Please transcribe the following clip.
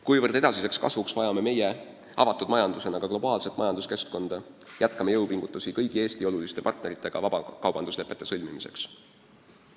Kuna me edasiseks kasvuks vajame avatud majandusena ka globaalset majanduskeskkonda, jätkame jõupingutusi kõigi Eesti oluliste partneritega vabakaubanduslepete sõlmimiseks.